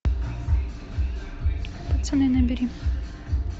пацаны набери